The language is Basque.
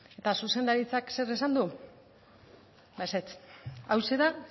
eta zuzendaritzak zer esan du ba ezetz hauxe da